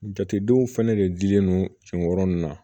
Jatedenw fɛnɛ de dilen no sen kɔrɔ ninnu na